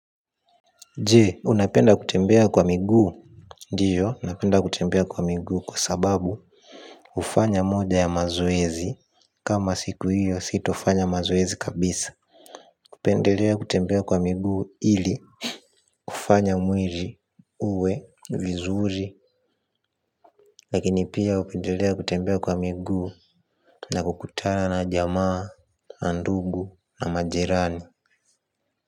Jee unapenda kutembea kwa miguu. Ndiyo napenda kutembea kwa miguu kwa sababu kufanya moja ya mazoezi kama siku hiyo sitofanya mazoezi kabisa. Kupendelea kutembea kwa miguu ili kufanya mwili uwe vizuri. Lakini pia hupendelea kutembea kwa miguu. Na kukutana na jamaa na ndugu na majirani.